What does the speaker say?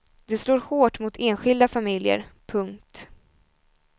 Det slår hårt mot enskilda familjer. punkt